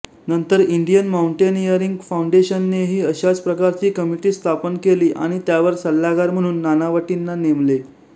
नंतर Indian mountaineering फाउंडेशननेही अशाच प्रकारची कमिटी स्थापन केली आणि त्यावर सल्लागार म्हणून नानावटींना नेमले